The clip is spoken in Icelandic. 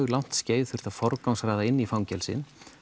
langt skeið þurft að forgangsraða inn í fangelsin